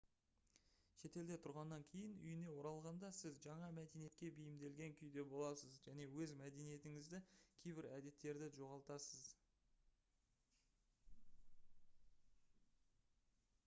шетелде тұрғаннан кейін үйіне оралғанда сіз жаңа мәдениетке бейімделген күйде боласыз және өз мәдениетіңіздегі кейбір әдеттерді жоғалтасыз